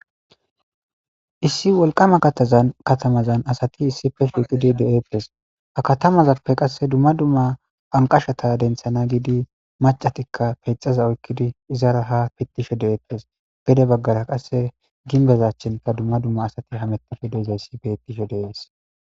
Issi wolqama katazan katamazan asati issife shuuqidi de7eettes ha katamazappe qasse dumma dumma anqashata denthana giidi macatikka peexaza oykkidi izara ha pittisho de7eettes gede baggara qasse ginbezachinka dumma dumma asati hamettofe deezayssi bettisho deees.